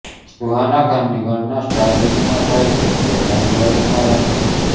સુહાના ખાનની ગણના તે સ્ટારકિડમાં થાય છે જે લાઇમલાઇટમાં રહે છે